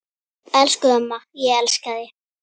Elsku amma, ég elska þig.